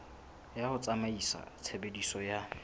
ya ho tsamaisa tshebeletso ya